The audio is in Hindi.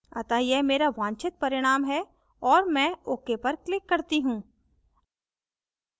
अतः यह मेरा वांछित परिणाम है और मैं ok पर click करती हूँ